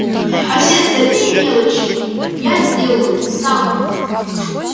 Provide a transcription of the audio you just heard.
а все остальные мелочи я сделаю сам